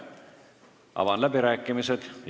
Avan läbirääkimised.